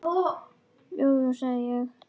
Jú, jú, sagði ég.